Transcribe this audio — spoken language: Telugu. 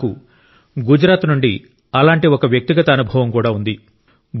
నాకు గుజరాత్ నుండి అలాంటి ఒక వ్యక్తిగత అనుభవం కూడా ఉంది